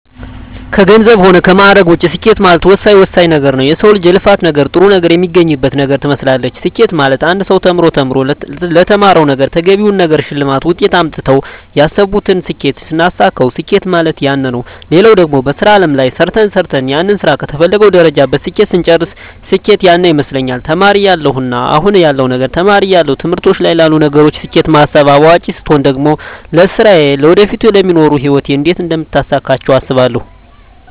ከገንዘብ ሆነ ከማእረግ ውጭ ስኬት ማለት ወሳኝ ወሳኝ ነገረ ነዉ የሰው ልጅ የልፋት ነገር ጥሩ ነገር የሚያገኝበት ነገር ትመስላለች ስኬት ማለት አንድ ሰው ተምሮ ተምሮ ለተማረዉ ነገረ ተገቢውን ነገር ሸልማት ውጤት አምጥተው ያሰብቱን ስኬት ስናሳካዉ ስኬት ማለት ያነ ነዉ ሌላው ደግሞ በሥራ አለም ላይ ሰርተ ሰርተን ያንን ስራ ከተፈለገዉ ደረጃ በስኬት ስንጨርስ ስኬት ያነ ይመስለኛል ተማሪ እያለው እና አሁን ያለዉ ነገር ተማሪ እያለው ትምህርቶች ላይ ላሉ ነገሮች ስኬት ማስብ አዋቂ ስቾን ደግሞ ለስራየ ለወደፊቱ ለሚኖሩ ህይወት እንዴት አደምታሳካቸው አስባለሁ